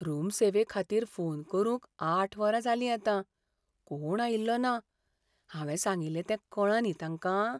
Room सेवेखातीर phone करून आठ वरां जालीं आतां, कोण्ण आयिल्लो ना. हावें सांगिल्लें तें कळ्ळां न्ही तांकां?